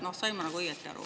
Sain ma õieti aru?